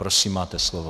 Prosím, máte slovo.